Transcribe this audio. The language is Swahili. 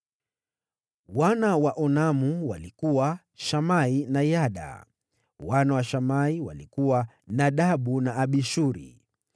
Wana wa Onamu walikuwa: Shamai na Yada. Wana wa Shamai walikuwa: Nadabu na Abishuri.